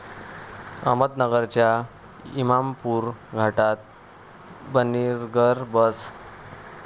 अहमदनगरच्या इमामपूर घाटात 'बर्निंग बस'